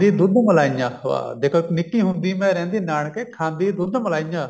ਦੁੱਧ ਮਲਾਈਆਂ ਵਾਹ ਦੇਖੋ ਨਿੱਕੀ ਹੁੰਦੀ ਮੈਂ ਰਹਿੰਦੀ ਨਾਨਕੇ ਖਾਂਦੀ ਦੁੱਧ ਮਲਾਈਆਂ